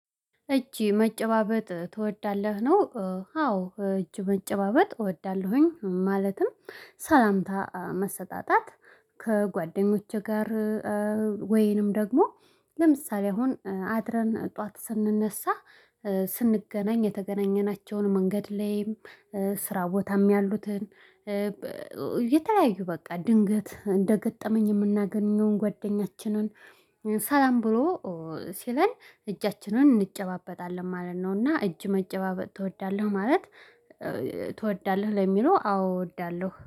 እጅ መጨባበጥ ትወዳለህ ነው? አዎ እጅ መጨባበጥ እወዳለሁኝ ማለትም ሰላምታ መሰጣጣት። ከጓደኞቼ ጋር። ወይንም ደግሞ ለምሳሌ አሁን አድረን ጠዋት ስንነሳ ስንገናኝ የተገናኘናቸውን መንገድ ላይም ስራ ቦታም ያሉትን። የተለያዩ በቃ ድንገት እንደገጠመኝ የምናገኘውን ጓደኛችንን ሰላም ብሎ ሲለን እጃችንን እንጨባበጣለን ማለት ነው። እና እጅ መጨባበጥ ትወዳለህ? ማለት ትወዳለህ ለሚለው አዎ እወዳለሁ